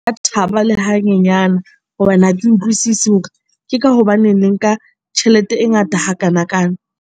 Ka thaba le hanyenyana hobane ha ke utlwisisi hore ke ka hobaneng le nka tjhelete e ngata hakanakana?